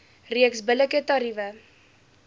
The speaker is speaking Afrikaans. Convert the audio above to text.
reeks billike tariewe